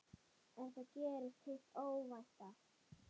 En þá gerðist hið óvænta.